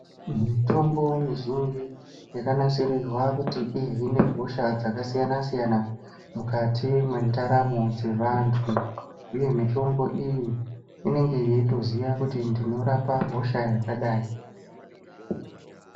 Mitombo mizhinji yakanasirirwa kuti ihine hosha dzakasiyana siyana mukati mwendaramo dzevantu uye mitombo iyi inenge yeitoziva kuti ndinorapa hosha yakadai.